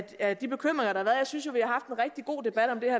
af de bekymringer der har været jeg synes jo